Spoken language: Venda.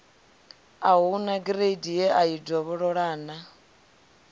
a hu nagireidi yeai dovhololau